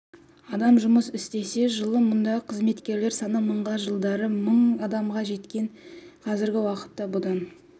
адам жұмыс істесе жылы мұндағы қызметкерлер саны мыңға жылдары мың адамға жеткен қазіргі уақытта бұдан